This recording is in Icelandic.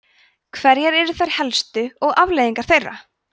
hverjar eru þær helstu og afleiðingar þeirra